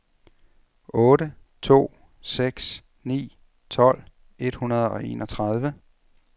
otte to seks ni tolv et hundrede og enogtredive